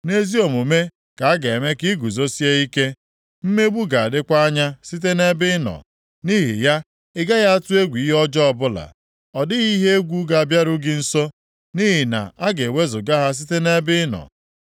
Nʼezi omume ka a ga-eme ka ị guzosie ike. Mmegbu ga-adịkwa anya site nʼebe ị nọ, nʼihi ya, ị gaghị atụ egwu ihe ọjọọ ọbụla. Ọ dịghị ihe egwu ga-abịaru gị nso, nʼihi na a ga-ewezuga ha site nʼebe ị nọ.